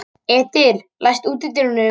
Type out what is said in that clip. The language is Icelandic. Edil, læstu útidyrunum.